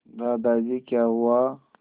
दादाजी क्या हुआ